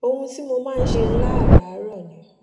ohun tí mo máa ń ṣe láràárò ni